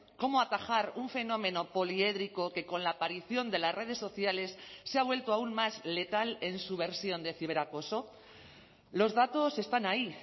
cómo atajar un fenómeno poliédrico que con la aparición de las redes sociales se ha vuelto aún más letal en su versión de ciberacoso los datos están ahí